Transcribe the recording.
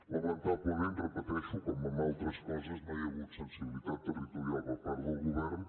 lamentablement ho repeteixo com en altres coses no hi ha hagut sensibilitat territorial per part del govern